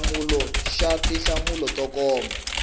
hlamula xa tinhlamulo to koma